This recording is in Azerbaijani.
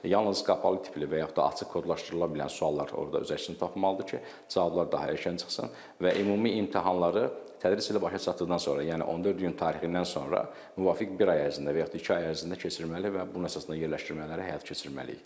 Yalnız qapalı tipli və yaxud da açıq kodlaşdırıla bilən suallar orada öz əksini tapmalıdır ki, cavablar daha erkən çıxsın və ümumi imtahanları tədris ili başa çatdıqdan sonra, yəni 14 iyun tarixindən sonra müvafiq bir ay ərzində və yaxud da iki ay ərzində keçirməli və bunun əsasında yerləşdirmələri həyata keçirməliyik.